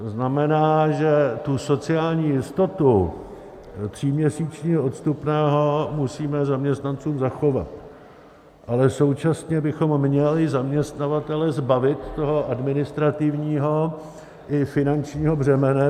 To znamená, že tu sociální jistotu tříměsíčního odstupného musíme zaměstnancům zachovat, ale současně bychom měli zaměstnavatele zbavit toho administrativního i finančního břemene.